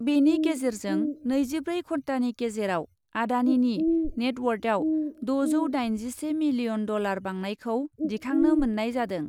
बेनि गेजेरजों नैजिब्रै घन्टानि गेजेराव आडानिनि नेटवार्थयाव द'जौ दाइनजिसे मिलियन डलार बांनायखौ दिखांनो मोन्नाय जादों।